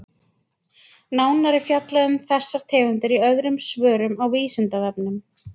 Nánar er fjallað um þessar tegundir í öðrum svörum á Vísindavefnum.